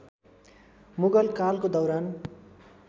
मुगल कालको दौरान